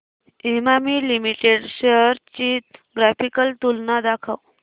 Emami limited shares ची graphical तुलना दाखव